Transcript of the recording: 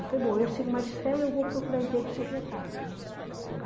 Eu falei, bom, ou eu sigo o magistério, ou vou procurar emprego de secretária, uhum.